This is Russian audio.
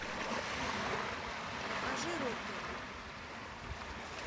покажи рокеры